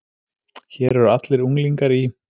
Hér eru allir unglingar í